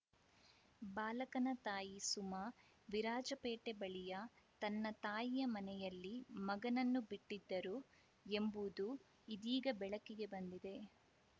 ಬಾಲಕನ ತಾಯಿ ಸುಮಾ ವಿರಾಜಪೇಟೆ ಬಳಿಯ ತನ್ನ ತಾಯಿಯ ಮನೆಯಲ್ಲಿ ಮಗನನ್ನು ಬಿಟ್ಟಿದ್ದರು ಎಂಬುದು ಇದೀಗ ಬೆಳಕಿಗೆ ಬಂದಿದೆ